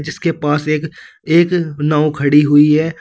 जिसके पास एक एक नाव खड़ी हुई है।